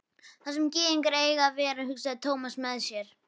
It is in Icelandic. Þar sem gyðingar eiga að vera, hugsaði Thomas með sér.